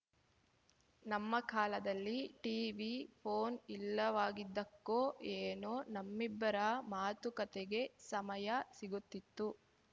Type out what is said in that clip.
ನಮ್ಮ ಕಾಲದಲ್ಲಿ TV phone ಇಲ್ಲವಾಗಿದ್ದಕ್ಕೋ ಏನೋ ನಮ್ಮಿಬ್ಬರ ಮಾತುಕತೆಗೆ ಸಮಯ ಸಿಗುತ್ತಿತ್ತು